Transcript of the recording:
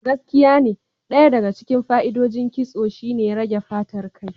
Gaskiyane, Ɗaya daga cikin fa'idodin ƙitso shine rage fatar kai.